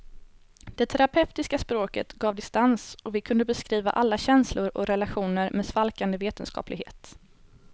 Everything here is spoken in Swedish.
Det terapeutiska språket gav distans och vi kunde beskriva alla känslor och relationer med svalkande vetenskaplighet.